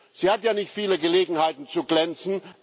Sie hat ja nicht viele Gelegenheiten zu glänzen.